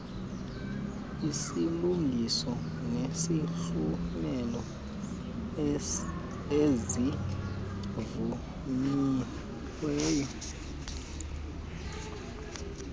izilungiso nezihlomelo ezivunyiweyo